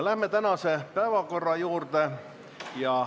Läheme tänase päevakorra juurde.